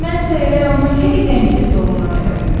Mən eləyə onu hey ləngidib yolundan elədim.